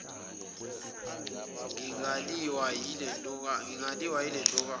ngingaliwa yile ntokazi